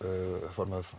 formaður